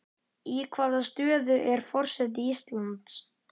Í hvaða stöðu er forseti Íslands?